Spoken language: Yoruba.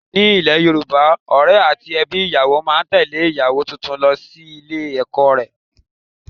Ní ile Yorùbá, Ọ̀rẹ́ àti ẹbí ìyàwó máa tẹle ìyàwó tuntun lọ ilé ọkọ rẹ̀.